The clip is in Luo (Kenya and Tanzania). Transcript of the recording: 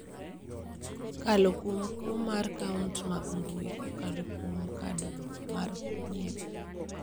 kokalo kuom kuo mar akaunt mag mbui kokalo kuom Kad mar Nyiepo.